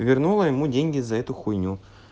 и вернула ему деньги за эту хуйню